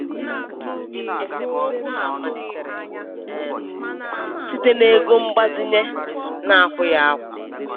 Esemokwu ha a malitere um site n'ego mgbazinye na-akwụghị akwụ.